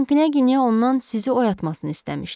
Məsələn, Knyaginya ondan sizi oyatmasını istəmişdi.